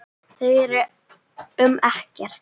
Þau eru um Ekkert.